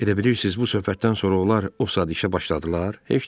Elə bilirsiz bu söhbətdən sonra onlar o saat işə başladılar?